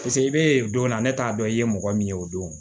Paseke i bɛ donna ne t'a dɔn i ye mɔgɔ min ye o don